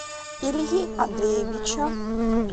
ильи андреевича